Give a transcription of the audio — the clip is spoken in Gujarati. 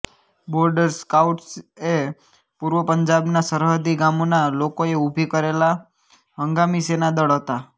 બોર્ડર સ્કાઉટ્સએ પૂર્વ પંજાબના સરહદી ગામોના લોકોએ ઉભી કરેલા હંગામી સેના દળ હતા